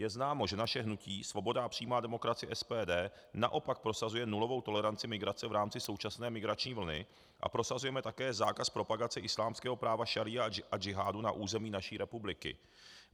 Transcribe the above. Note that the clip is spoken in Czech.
Je známo, že naše hnutí Svoboda a přímá demokracie SPD naopak prosazuje nulovou toleranci migrace v rámci současné migrační vlny a prosazujeme také zákaz propagace islámského práva šaría a džihádu na území naší republiky.